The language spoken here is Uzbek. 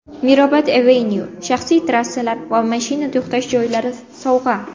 Mirabad Avenue: Shaxsiy terrasalar va mashina to‘xtash joylari sovg‘a.